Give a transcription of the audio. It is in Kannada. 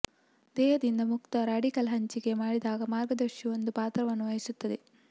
ದೇಹದಿಂದ ಮುಕ್ತ ರಾಡಿಕಲ್ ಹಂಚಿಕೆ ಮಾಡಿದಾಗ ಮಾರ್ಗದರ್ಶಿ ಒಂದು ಪಾತ್ರವನ್ನು ವಹಿಸುತ್ತದೆ